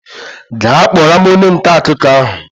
Gaa kpọrọ m onye nta akụkọ ahụ!